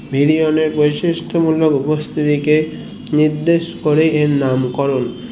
bilion এর বৈশিষ্ট গুলোর উপস্থিতিকে নির্দেশ করেই এর নাম করণ